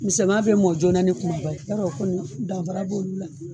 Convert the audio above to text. Misɛnma bɛ mɔn joona ni kumaba ye yarɔ o kɔni danfara b'olu la.